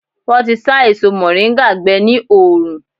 Wọn tí sá èso moringa gbé ní oòrùn.